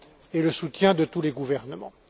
et le soutien de tous les gouvernements.